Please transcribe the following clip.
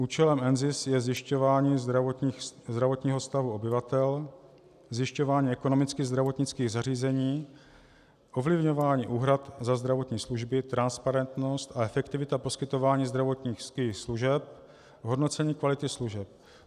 Účelem NZIS je zjišťování zdravotního stavu obyvatel, zjišťování ekonomicky (?) zdravotnických zařízení, ovlivňování úhrad za zdravotní služby, transparentnost a efektivita poskytování zdravotních služeb, hodnocení kvality služeb.